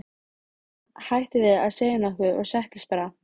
Og hún hætti við að segja nokkuð og settist bara.